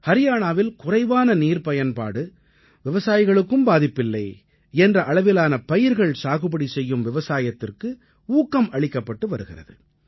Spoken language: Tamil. ஹரியாணாவில் குறைவான நீர்ப்பயன்பாடு விவசாயிகளுக்கும் பாதிப்பில்லை என்ற அளவிலான பயிர்கள் சாகுபடி செய்யும் விவசாயத்திற்கு ஊக்கம் அளிக்கப்பட்டு வருகிறது